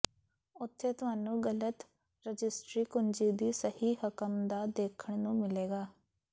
ਉੱਥੇ ਤੁਹਾਨੂੰ ਗਲਤ ਰਜਿਸਟਰੀ ਕੁੰਜੀ ਦੀ ਸਹੀ ਰਕਮ ਦਾ ਦੇਖਣ ਨੂੰ ਮਿਲੇਗਾ